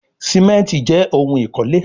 Simenti jé òun ikole